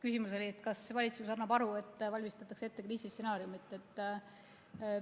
Küsimus oli selline: kas valitsus annab aru, et valmistatakse ette kriisistsenaariumit?